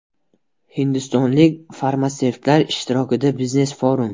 Hindistonlik farmatsevtlar ishtirokida biznes forum.